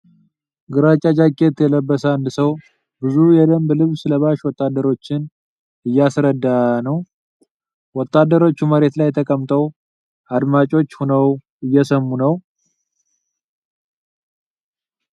ግራጫ ጃኬት የለበሰ አንድ ሰው ብዙ የደንብ ልብስ ለባሽ ወታደሮችን እያሰረዳ ነው። ወታደሮቹ መሬት ላይ ተቀምጠው አድማጮች ሆነው እየሰሙ ነው ።